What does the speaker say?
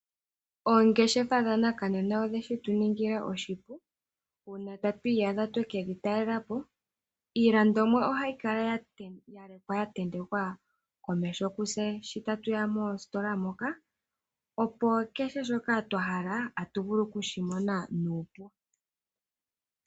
Oongeshefa dhanakanena odhe shitu ningila oshipu uuna tatu iyadha tweke dhi taalelapo . Iilandomwa ohayi kala yalekwa yatentekwa komeho kutse shotatu ya moositola moka , opo kehe shoka twahala otatu shimono nuupu.